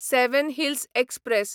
seven hills express